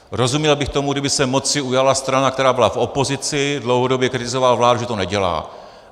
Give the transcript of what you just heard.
Rozuměl bych tomu, kdyby se moci ujala strana, která byla v opozici, dlouhodobě kritizovala vládu, že to nedělá.